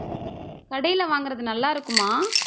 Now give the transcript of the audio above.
கடையில வாங்குறது நல்லாருக்குமா